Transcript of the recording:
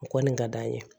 O kɔni ka d'an ye